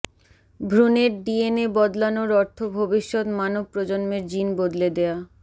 ভ্রুণের DNA বদলানোর অর্থ ভবিষ্যত মানব প্রজন্মের জিন বদলে দেয়া